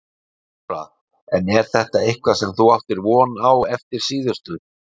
Þóra: En er þetta eitthvað sem þú áttir von á eftir síðustu?